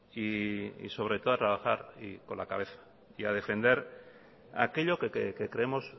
y sobre todo a trabajar con la cabeza y a defender aquello que creemos